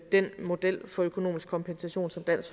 den model for økonomisk kompensation som dansk